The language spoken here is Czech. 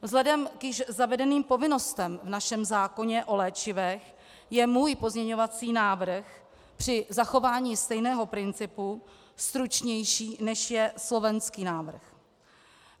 Vzhledem k již zavedeným povinnostem v našem zákoně o léčivech je můj pozměňovací návrh při zachování stejného principu stručnější, než je slovenský návrh.